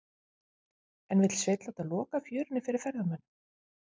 En vill Sveinn láta loka fjörunni fyrir ferðamönnum?